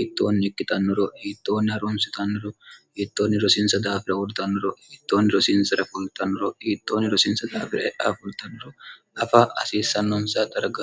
iittoonni ikkitannuro yiittoonni haroomsitannoro yiittoonni rosiinsa daafira uurdannuro yiittoonni rosiinsa refoltannuro iittoonni rosiinsa daafira heaafuurtannoro afa asiissannonsa dargno